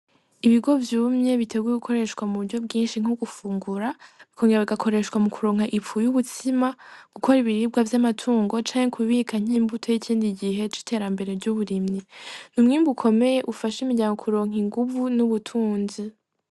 Ibigori vyumye biteguye gukoreshwa mu buryo bwinshi nko gufungura, bikongera bigakoreshwa mu kuronka ifu y'ubutsima, gukora ibiribwa vy'amatungo, canke kubika nk'imbuto y'ikindi gihe c'iterambere ry'uburimyi, n'umwimbu ukomeye ufasha imiryango kuronka inguvu n'ubutunzi.